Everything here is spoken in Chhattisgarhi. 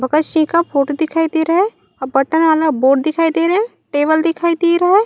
भगत सिंह का फोटो दिखाई दे रहा है और बटन वाला बोर्ड दिखाई दे रहा है टेबल दिखाई दे रहा है।